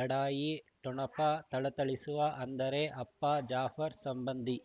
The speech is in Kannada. ಲಢಾಯಿ ಠೊಣಪ ಥಳಥಳಿಸುವ ಅಂದರೆ ಅಪ್ಪ ಜಾಫರ್ ಸಂಬಂಧಿ